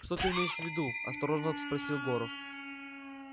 что ты имеешь в виду осторожно спросил горов